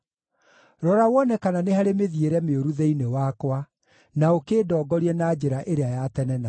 Rora wone kana nĩ harĩ mĩthiĩre mĩũru thĩinĩ wakwa, na ũkĩndongorie na njĩra ĩrĩa ya tene na tene.